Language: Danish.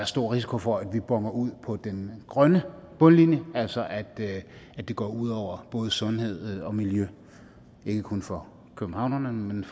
stor risiko for at vi bonner forkert ud på den grønne bundlinje altså at at det går ud over både sundhed og miljø ikke kun for københavnerne men